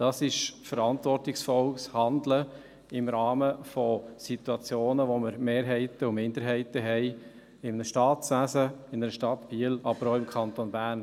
» Das ist verantwortungsvolles Handeln im Rahmen von Situationen, in denen wir Mehrheiten und Minderheiten haben, in einem Staatswesen, in einer Stadt Biel, aber auch im Kanton Bern.